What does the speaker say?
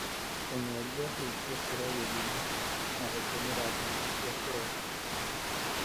kũnywa njohi gũkĩra gĩthimi na gũtũmĩra ndawa cia kũrebia.